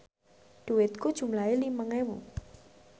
dhuwitku jumlahe limang ewu